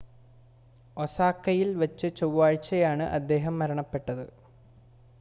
ഒസാക്കയിൽ വച്ച് ചൊവ്വാഴ്ചയാണ് അദ്ദേഹം മരണപ്പെട്ടത്